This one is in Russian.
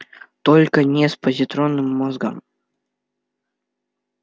только не с позитронным мозгом